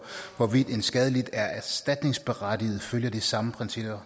hvorvidt en skadelidt er erstatningsberettiget følger de samme principper